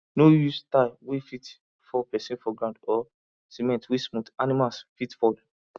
no use tile wey fit fall person for ground or cement wey smooth animals fit fall